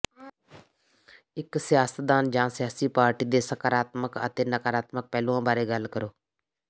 ਇੱਕ ਸਿਆਸਤਦਾਨ ਜਾਂ ਸਿਆਸੀ ਪਾਰਟੀ ਦੇ ਸਕਾਰਾਤਮਕ ਅਤੇ ਨਕਾਰਾਤਮਕ ਪਹਿਲੂਆਂ ਬਾਰੇ ਗੱਲ ਕਰੋ